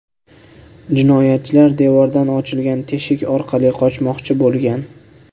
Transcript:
Jinoyatchilar devordan ochilgan teshik orqali qochmoqchi bo‘lgan.